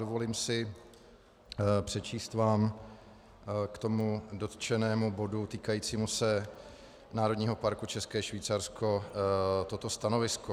Dovolím si přečíst vám k tomu dotčenému bodu týkajícímu se Národního parku České Švýcarsko toto stanovisko.